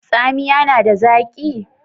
Tsamiya nada zaki?